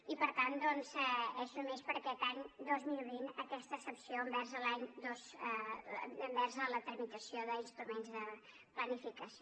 i per tant doncs és només per aquest any dos mil vint aquesta excepció envers a la tramitació d’instruments de planificació